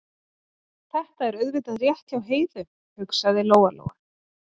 Þetta er auðvitað rétt hjá Heiðu, hugsaði Lóa Lóa.